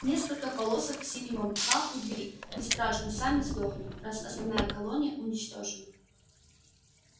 несколько полосок синего мха у двери не страшно сами сдохнут раз основная колония уничтожена